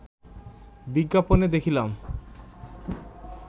বিজ্ঞাপনে দেখিলাম